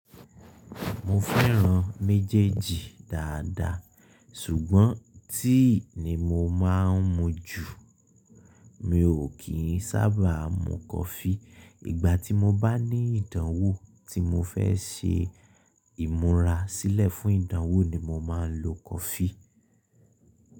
Mo fẹ́ran méjèèjì dáadáa ṣùgbọ́n tea ni mo máa ń mu jù. Mi ò kí ń sábà mu coffee. Ìgbà tí mo bá ní ìdánwò tí mo fẹ́ ṣe ìmúra sílẹ̀ fún ìdánwò ni mo máa ń lo coffee.